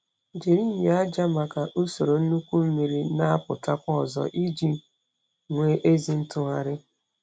Jiri nyo aja maka usoro nnukwu mmiri na-apụtakwa ozo iji nwee ezi ntụgharị.